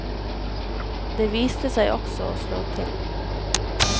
Det viste seg også å slå til.